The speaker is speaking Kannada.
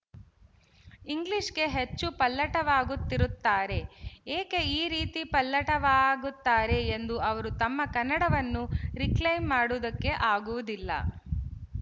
ಇಂಗ್ಲಿಶ್‌ಗೆ ಹೆಚ್ಚು ಪಲ್ಲಟವಾಗುತ್ತಿರುತ್ತಾರೆ ಏಕೆ ಆ ರೀತಿ ಪಲ್ಲಟವಾಗುತ್ತಾರೆ ಎಂದು ಅವರು ತಮ್ಮ ಕನ್ನಡವನ್ನು ರಿಕ್ಲೈಮ್ ಮಾಡುವುದಕ್ಕೆ ಆಗುವುದಿಲ್ಲ